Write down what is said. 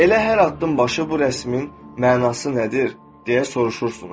Elə hər addımbaşı bu rəsmin mənası nədir deyə soruşursunuz.